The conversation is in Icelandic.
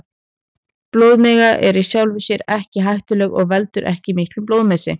Blóðmiga er í sjálfu sér ekki hættuleg og veldur ekki miklum blóðmissi.